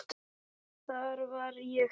Þar var ég heppin.